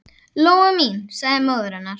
Lóa mín, sagði móðir hennar.